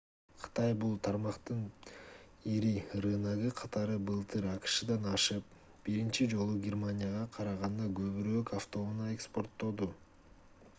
кытай бул тармактын ири рыногу катары былтыр акшдан ашып биринчи жолу германияга караганда көбүрөөк автоунаа экспорттоду